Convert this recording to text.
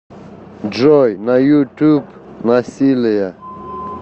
джой на ютуб насилие